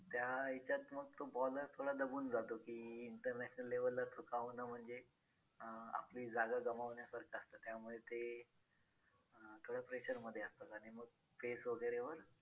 त्या ह्याच्यात मग तो bowler थोडा दबून जातो की international level ला चुका होणं म्हणजे अं आपली जागा गमावण्यासारखं असतं त्यामुळे ते अं थोडं pressure मध्ये असतात आणि मग pace वगैरे वर